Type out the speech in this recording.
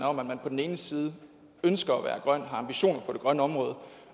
om at man på den ene side ønsker at være grøn og har ambitioner på det grønne område